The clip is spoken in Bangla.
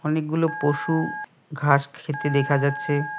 অনেকগুলো পশু ঘাস খেতে দেখা যাচ্ছে।